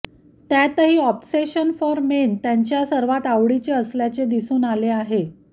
त्यातही obsession for men त्यांचा सर्वात आवडीचे असल्याचे दिसून आले आहे